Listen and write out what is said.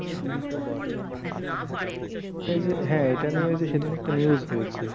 এটা যে হ্যাঁ এটা নিয়েও যে সেদিন একটা news হয়েছে।